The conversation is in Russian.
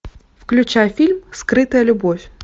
включай фильм скрытая любовь